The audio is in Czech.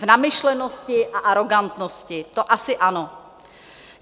V namyšlenosti a arogantnosti, to asi ano.